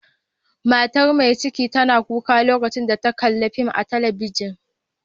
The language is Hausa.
Mata Mai cikin tana kuka lokacin da tana kalla'n fim a'telibijin.